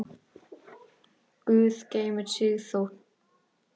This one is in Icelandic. Guð geymi Sigþór.